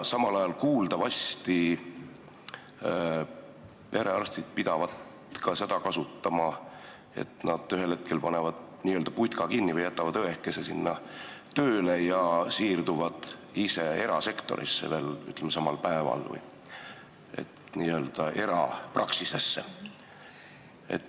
Samal ajal pidavat aga perearstid kasutama seda taktikat, et panevad ühel hetkel n-ö putka kinni või jätavad õekese sinna tööle ja siirduvad ise veel samal päeval erasektorisse või, ütleme, erapraksisesse.